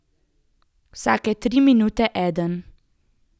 Vsake tri minute eden.